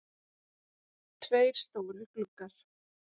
Tveir stórir gluggar.